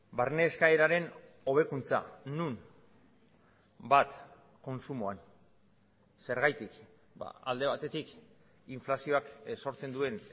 barne eskaeraren hobekuntza non bat kontsumoan zergatik alde batetik inflazioak sortzen duen